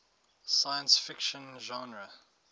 science fiction genre